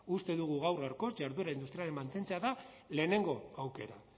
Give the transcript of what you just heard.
uste dugu gaur gaurkoz jarduera industriala mantentzea da lehenengo aukera